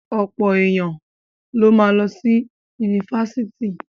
Ọ̀pọ̀ èèyàn ló ma lọ sí ifásitì